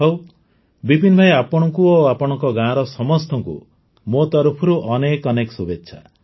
ହଉ ବିପିନ୍ ଭାଇ ଆପଣଙ୍କୁ ଓ ଆପଣଙ୍କ ଗାଁର ସମସ୍ତଙ୍କୁ ମୋ ତରଫରୁ ଅନେକ ଅନେକ ଶୁଭେଚ୍ଛା